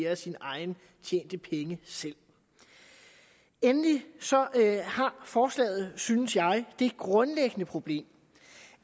af sine egne tjente penge selv endelig har forslaget synes jeg det grundlæggende problem